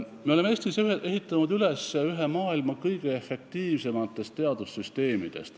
Me oleme Eestis ehitanud üles ühe maailma kõige efektiivsematest teadussüsteemidest.